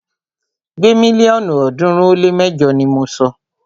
Gbé mílíọ̀nù ọ̀ọ́dúnrún ó lé mẹjọ ni mọ sọ!